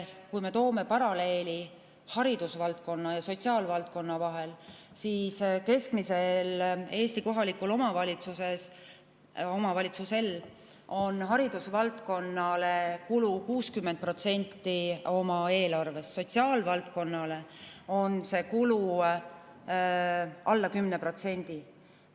Kui me tõmbame paralleeli haridusvaldkonna ja sotsiaalvaldkonna vahel, siis keskmise Eesti kohaliku omavalitsuse kulu haridusvaldkonnale on 60% tema eelarvest, kulu sotsiaalvaldkonnale on alla 10%.